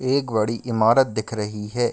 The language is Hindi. एक बड़ी इमारत दिख रही है।